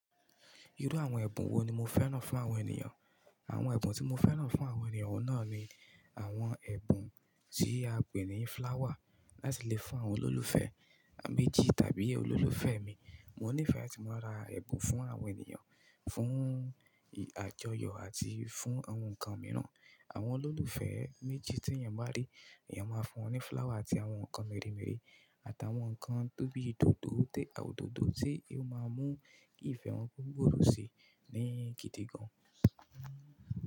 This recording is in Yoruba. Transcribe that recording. Irú àwọn ẹ̀bùn wo ni mo fẹ́ràn fún àwọn ènìyàn? Àwọn ẹ̀bùn tí mo fẹ́ràn fún àwọn ènìyàn náà ni àwọn ẹ̀bùn tí a pè ní flower láti lè fún àwọn olólùfẹ́ méjì tàbí olólùfẹ́ mi. Mo nífẹ̀ẹ́ láti máa ra ẹ̀bùn fún àwọn ènìyàn, fún ì-àjọyọ̀ àti fún àwọn nǹkan mìíràn. Àwọn olólùfẹ́ méjì tí èèyàn bá rí, èèyàn máa fún wọn ní flower àti àwọn nǹkan mèremère àtàwọn nǹkan tó bí i dòdò te òdòdó tí ó máa mú ìfẹ́ wọn ko gboòrò si ní gidi gan.